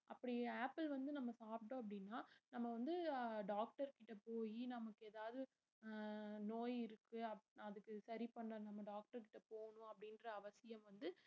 அப்படி ஆப்பிள் வந்து நம்ம சாப்பிட்டோம் அப்படினா நம்ம வந்து அஹ் doctor கிட்ட போயி நமக்கு எதாவது அஹ் நோய் இருக்கு அப்~ அதுக்கு சரி பண்ணனும் நம்ம doctor கிட்ட போகணும் அப்படின்ற அவசியம் வந்து